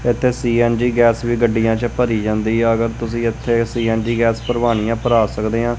ਇੱਥੇ CNG gas ਵੀ ਗੱਡੀਆਂ 'ਚ ਭਰੀ ਜਾਂਦੀ ਆ ਅਗਰ ਤੁਸੀਂ ਇੱਥੇ ਸੀ_ਐਨ_ਜੀ ਗੈਸ ਭਰਵਾਣੀ ਆ ਭਰਾ ਸਕਦੇ ਆਂ।